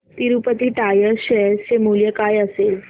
Tirupati tyres share चे मूल्य काय असेल